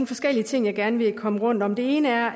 forskellige ting jeg gerne vil komme rundt om det ene er